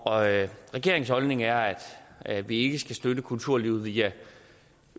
og atten regeringens holdning er at vi ikke skal støtte kulturlivet via